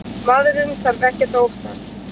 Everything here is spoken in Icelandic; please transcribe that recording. Maðurinn þarf ekkert að óttast.